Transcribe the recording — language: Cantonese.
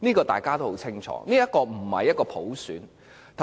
大家都很清楚，這並非普選。